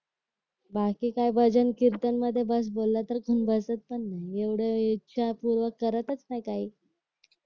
बाकी काय भजन कीर्तन मध्ये बस बोलला तर बसायचं नाही एवढ इच्छापूर्वक करतच नाही काही